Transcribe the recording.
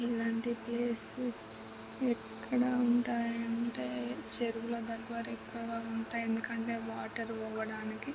ఇలాంటి ప్లేసెస్ ఎక్కడ ఉంటాయంటే చెరువుల దగ్గర ఉంటాయి. ఎందుకంటే వాటర్ పోవడానికి.